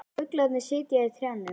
Fuglarnir sitja í trjánum.